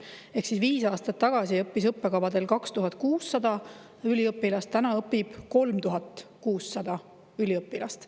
Ehk viis aastat tagasi õppis nendel õppekavadel 2600 üliõpilast, täna õpib 3600 üliõpilast.